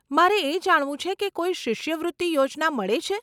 મારે એ જાણવું છે કે કોઈ શિષ્યવૃત્તિ યોજના મળે છે?